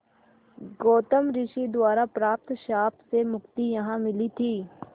गौतम ऋषि द्वारा प्राप्त श्राप से मुक्ति यहाँ मिली थी